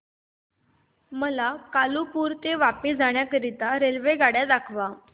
मला कालुपुर ते वापी जाण्या करीता रेल्वेगाड्या दाखवा